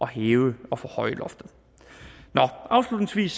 hæve og forhøje loftet afslutningsvis